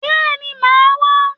Bẹ́ẹ̀ni, màá wá.